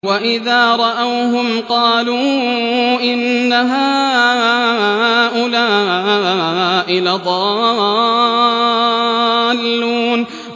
وَإِذَا رَأَوْهُمْ قَالُوا إِنَّ هَٰؤُلَاءِ لَضَالُّونَ